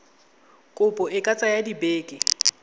kopo e ka tsaya dibeke